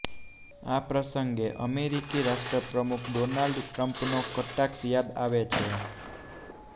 આ પ્રસંગે અમેરિકી રાષ્ટ્રપ્રમુખ ડોનાલ્ડ ટ્રમ્પનો કટાક્ષ યાદ આવે છે